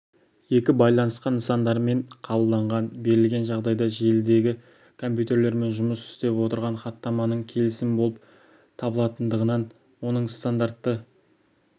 екі байланысқан нысандармен қабылданған берілген жағдайда желідегі компьютерлермен жұмыс істеп отырған хаттаманың келісім болып табылатындығынан оның стандартты